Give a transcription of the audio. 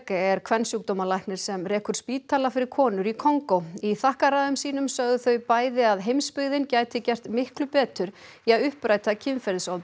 er kvensjúkdómalæknir sem rekur spítala fyrir konur í Kongó í þakkarræðum sínum sögðu þau bæði að heimsbyggðin gæti gert miklu betur í að uppræta kynferðisofbeldi